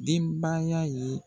Denbaya ye.